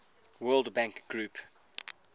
world bank group